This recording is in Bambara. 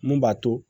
Mun b'a to